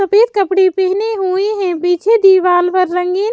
सफेद कपड़े पहने हुए हैं पीछे दीवाल पर रंगीन--